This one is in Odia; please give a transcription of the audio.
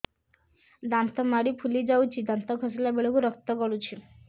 ଦାନ୍ତ ମାଢ଼ୀ ଫୁଲି ଯାଉଛି ଦାନ୍ତ ଘଷିଲା ବେଳକୁ ରକ୍ତ ଗଳୁଛି